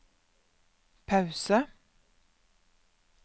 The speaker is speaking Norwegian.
pause